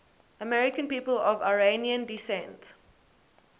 american people of iranian descent